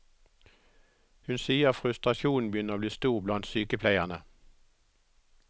Hun sier frustrasjonen begynner å bli stor blant sykepleierne.